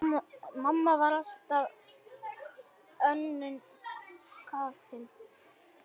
Mamma var alltaf önnum kafin.